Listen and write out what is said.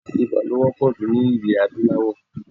Ibà ló wọ́pọ̀ jù ní ilẹ̀ adúláwò.